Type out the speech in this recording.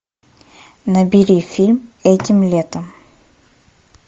набери фильм этим летом